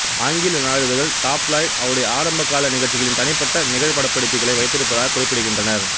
ஆங்கில நாளிதழ்கள் டாப்லாய்டு அவருடைய ஆரம்பகால நிகழ்ச்சிகளின் தனிப்பட்ட நிகழ்படப்பிடிப்புகளை வைத்திருப்பதாக குறிப்பிடுகின்றனர்